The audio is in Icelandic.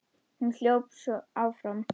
Svo hljóp hún áfram.